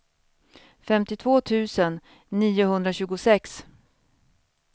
femtiotvå tusen niohundratjugosex